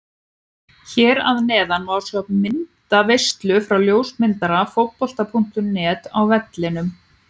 Hér að neðan má sjá myndaveislu frá ljósmyndara Fótbolta.net á vellinum.